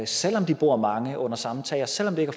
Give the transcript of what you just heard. selv om de bor mange under samme tag og selv om det ikke